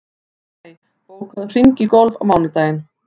Ísmey, bókaðu hring í golf á mánudaginn.